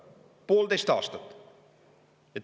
Poolteist aastat!